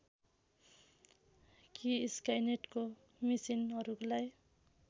कि स्काइनेटको मिसिनहरूलाई